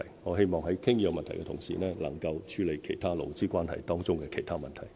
我希望在討論這個問題的同時，能夠處理勞資關係當中的其他問題。